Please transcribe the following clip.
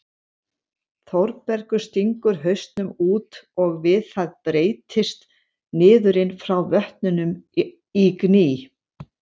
Þórbergur stingur hausnum út og við það breytist niðurinn frá vötnunum í gný.